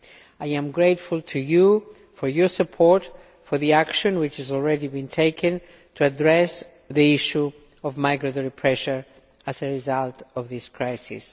I am grateful to you for your support for the action which has already been taken to address the issue of migratory pressure as a result of this crisis.